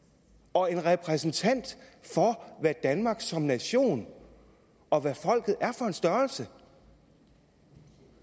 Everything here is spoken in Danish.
og en repræsentant for hvad danmark er som nation og hvad folket er for en størrelse